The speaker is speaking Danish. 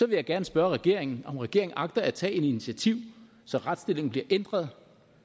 vil jeg gerne spørge regeringen om regeringen agter at tage et initiativ så retsstillingen bliver ændret